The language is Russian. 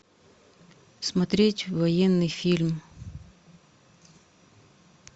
смотреть военный фильм